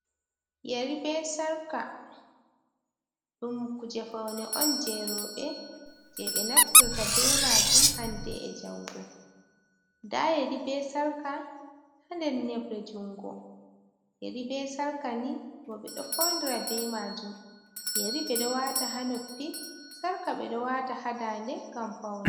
Yeri be Sarka: Ɗum kuje faune on je roɓe je ɓe naftirta ɓe majum hande e'jango. Nda yeri be sarka ha nder nebre jungo. Yeri be sarka ni roɓe ɗo faunira be majum. Yeri beɗo wata ha noppi, sarka ɓeɗo wata ha daande ngam paune.